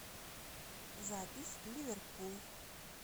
запись ливерпул